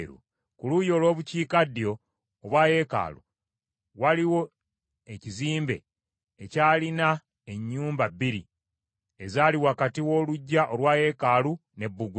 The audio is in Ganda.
Ku luuyi olw’Obukiikaddyo obwa yeekaalu, waliwo ekizimbe ekyalina ennyumba bbiri ezaali wakati w’oluggya olwa yeekaalu, ne bbugwe.